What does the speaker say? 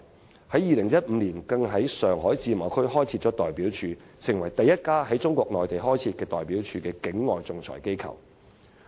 香港在2015年在中國自由貿易試驗區開設代表處，成為第一家在中國內地開設代表處的境外仲裁機構。